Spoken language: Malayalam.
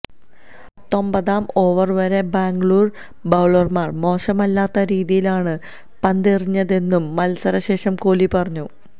പത്തൊമ്പതാം ഓവര് വരെ ബാംഗ്ലൂര് ബൌളര്മാര് മോശമല്ലാത്ത രീതിയിലാണ് പന്തെറിഞ്ഞതെന്നും മത്സരശേഷം കോലി പറഞ്ഞു